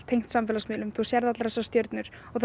tengt samfélagsmiðlum þú sérð allar þessar stjörnur og